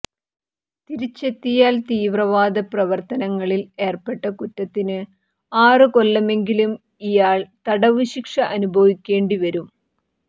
തിരിച്ചെത്തിയാൽ തീവ്രവാദ പ്രവർത്തങ്ങളിൽ ഏർപ്പെട്ട കുറ്റത്തിന് ആറ് കൊല്ലമെങ്കിലും ഇയാൾ തടവ് ശിക്ഷ അനുഭവിക്കേണ്ടി വരും